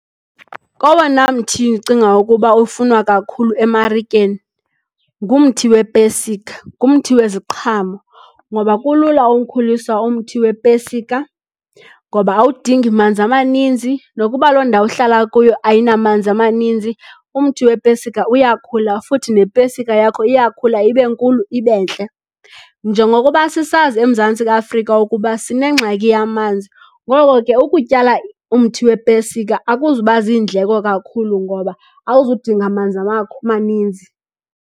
Kowona mthi ndicinga ukuba ufunwa kakhulu emarikeni ngumthi wepesika, ngumthi weziqhamo. Ngoba kulula uwukhulisa umthi wepesika, ngoba awudingi manzi amaninzi. Nokuba loo ndawo uhlala kuyo ayinamanzi amaninzi umthi wepesika uyakhula futhi nepesika yakho iyakhula ibe nkulu, ibe ntle. Njengokuba sisazi eMzantsi Afrika ukuba sinengxaki yamanzi, ngoko ke ukutyala umthi wepesika akuzuba zindleko kakhulu ngoba awuzudinga manzi amaninzi.